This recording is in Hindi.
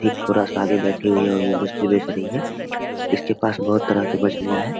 एक बड़ा सा वो बैठी हुई है और मछली बेच रहीं है इसके पास बहुत तरह का मछलियाँ है ।